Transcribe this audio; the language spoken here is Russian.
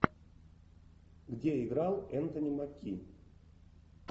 где играл энтони маки